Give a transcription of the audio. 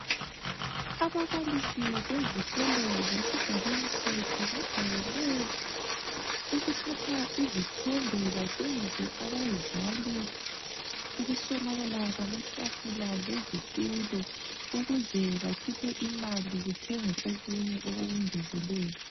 Ababalisi bezikolo zesigabeni sethu bajayele ukuthatha izithombe batshengise abazali ukuswelakala kwamatafula lezitulo ukuze bakhiphe imali kuthengwe okunye okokungezelela.